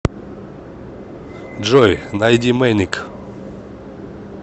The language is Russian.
джой найди мэник